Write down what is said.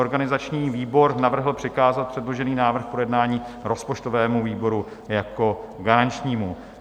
Organizační výbor navrhl přikázat předložený návrh k projednání rozpočtovému výboru jako garančnímu.